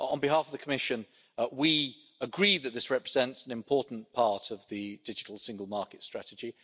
On behalf of the Commission, we agree that this represents an important part of the Digital Single Market Strategy.